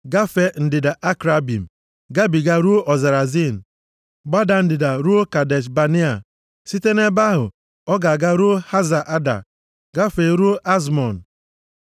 gafee ndịda Akrabim, gabiga ruo ọzara Zin, gbada ndịda ruo Kadesh Banea. Site nʼebe ahụ ọ ga-aga ruo Haza Ada, gafee ruo Azmọn,